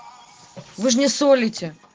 вы ж не солите